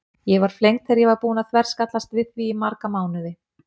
Ég var flengd þegar ég var búin að þverskallast við því í marga mánuði.